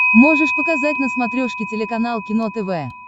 можешь показать на смотрешке телеканал кино тв